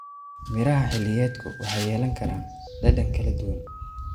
Miraha xilliyeedku waxay yeelan karaan dhadhan kala duwan.